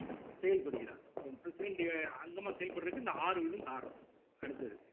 செயல்படுகிறார் இப்ப president அங்கமா செயல்படறதுக்கு இந்த ஆறு இதுவும் காரணம் அடுத்தது